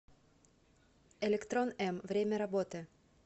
электрон м время работы